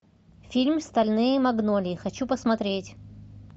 фильм стальные магнолии хочу посмотреть